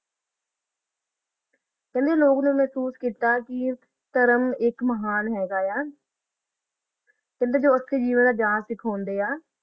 ਚਲੋ ਲੋਗਾ ਨਾ ਮਹ੍ਸੋਸ ਕੀਤਾ ਆ ਕਾ ਕਿੰਦਾ ਓਨਾ ਚ ਜਾ ਕਾ ਖਲੋਂਦਾ ਆ